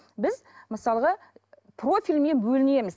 біз мысалға профильмен бөлінеміз